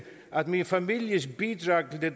at min families bidrag til det